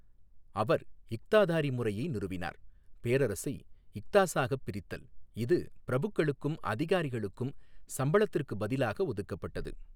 அவர் இக்தாதாரி முறையை நிறுவினார் பேரரசை இக்தாஸாகப் பிரித்தல், இது பிரபுக்களுக்கும் அதிகாரிகளுக்கும் சம்பளத்திற்குப் பதிலாக ஒதுக்கப்பட்டது.